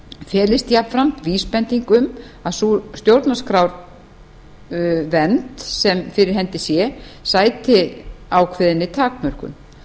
felist jafnframt vísbending um að sú stjórnarskrárvernd sem fyrir hendi sé sæti ákveðinni takmörkun